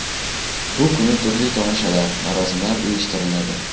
Bu kuni turli tomoshalar, marosimlar uyushtiriladi.